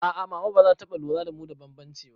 A'a mama bazata taɓa lura da mu da bambanci ba